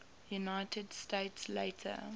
united states later